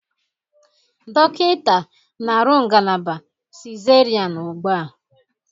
Dọkịta na-arụ ngalaba cesarean ugbu a